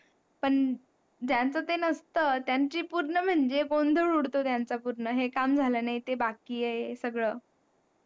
पण ज्यांचं ते नसतं त्यांची पूर्ण म्हणजे गोंधळ उडतो. त्यांचा हे पूर्ण काम झालं नाही ते बाकी आहे सगळ,